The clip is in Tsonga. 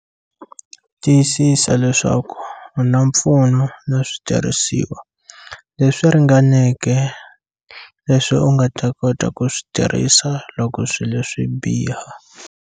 Tiyisisa leswaku u na mpfuno na switirhisiwa leswi ringaneke leswi u nga ta kota ku swi tirhisa loko swilo swi biha.